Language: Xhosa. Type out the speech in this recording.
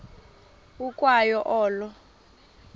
ukwa yo olo